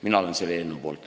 Mina olen selle eelnõu poolt.